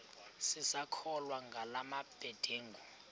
sisakholwa ngala mabedengu